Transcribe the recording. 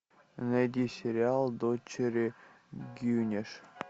найди сериал дочери гюнеш